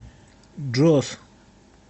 джос